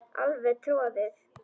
Alveg troðið.